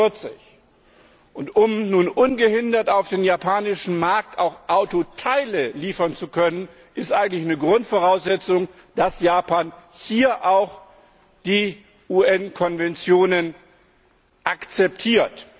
43. Um nun ungehindert auf den japanischen Markt auch Autoteile liefern zu können, ist es eigentlich Grundvoraussetzung, dass Japan hier auch die UN Konventionen akzeptiert.